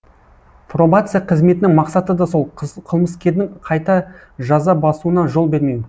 пробация қызметінің мақсаты да сол қылмыскердің қайта жаза басуына жол бермеу